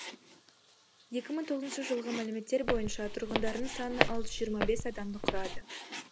екі мың тоғызыншы жылғы мәліметтер бойынша тұрғындарының саны алты жүз жиырма бес адамды құрады